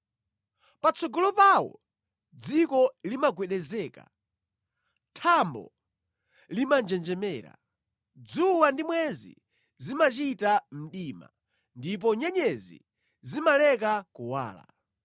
Patsogolo pawo dziko limagwedezeka, thambo limanjenjemera, dzuwa ndi mwezi zimachita mdima, ndipo nyenyezi zimaleka kuwala.